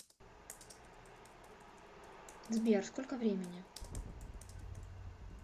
сбер сколько времени